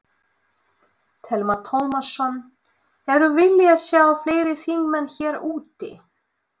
Telma Tómasson: Hefðirðu viljað sjá fleiri þingmenn hér úti?